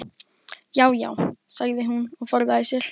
Já já, sagði hún og forðaði sér.